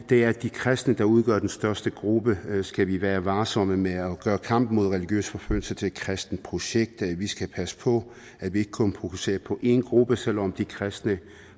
det er de kristne der udgør den største gruppe skal vi være varsomme med at gøre kampen mod religiøs forfølgelse til et kristent projekt vi skal passe på at vi ikke kun fokuserer på en gruppe selv om de kristne